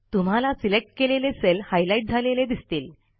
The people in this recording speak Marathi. तुम्हाला सिलेक्ट केलेले सेल हायलाईट झालेले दिसतील